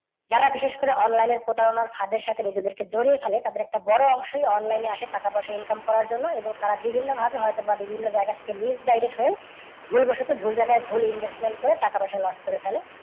যারা বিশেষ করে online এ প্রতারণার ফাদের সাথে নিজেদেরকে জড়িয়ে ফেলে তাদের একটা বড় অংশই online এ আসে টাকা পয়সা income করার জন্য এবং তারা বিভিন্ন ভাবে হয়তো বা বিভিন্ন জায়গা থেকে misguide হয়ে ভুল বসত ভুল জায়গায় ভুল investment করে টাকা পয়সা নষ্ট করে ফেলে।